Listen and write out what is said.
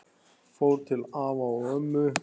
Fór til afa og ömmu.